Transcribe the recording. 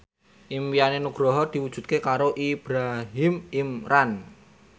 impine Nugroho diwujudke karo Ibrahim Imran